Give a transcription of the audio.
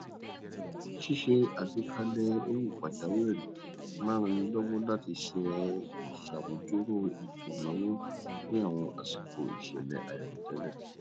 ṣíṣe àgbékalẹẹ owó pàjáwìrì máa n rannilọwọ láti ṣàmúdúró ètò ìnáwó ní àwọn àsìkò ìṣẹlẹ àìròtẹlẹ